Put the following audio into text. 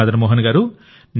మదన్ మోహన్ గారూ